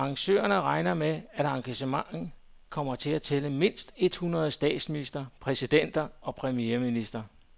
Men arrangørerne regner med, at arrangementet kommer til at tælle mindst et hundrede statsministre, præsidenter og premierministre.